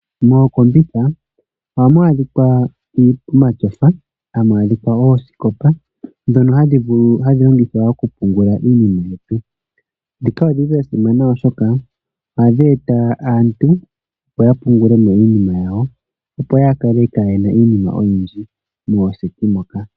Mooseti ohamu adhika omatyofa, hamu adhika oosikopa ndhono hadhi longithwa okupungula iinima yetu. Ndhika odhi li dha simana, oshoka ohadhi eta aantu, opo ya pungule mo iinima yawo, opo ya kale kaaye na mo iinima oyindji mooseti moka.